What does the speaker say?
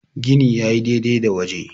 gini ya yi dai-dai da waje